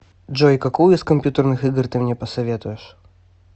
джой какую из компьютерных игр ты мне посоветуешь